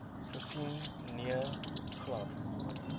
gesien nee glad